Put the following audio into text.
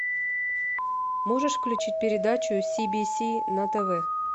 можешь включить передачу си би си на тв